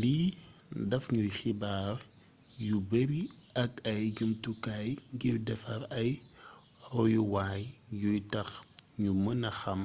lii daf ñuy xibaar yu bari ak ay jumtukaay ngir defar ay royuwaay yuy tax ñu mëna xàm